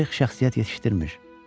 Tarix şəxsiyyət yetişdirmir.